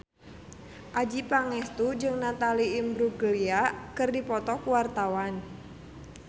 Adjie Pangestu jeung Natalie Imbruglia keur dipoto ku wartawan